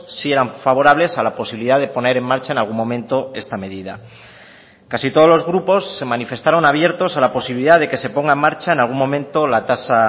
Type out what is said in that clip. sí eran favorables a la posibilidad de poner en marcha en algún momento esta medida casi todos los grupos se manifestaron abiertos a la posibilidad de que se ponga en marcha en algún momento la tasa